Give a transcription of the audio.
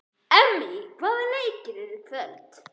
Emmý, hvaða leikir eru í kvöld?